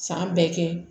San bɛɛ kɛ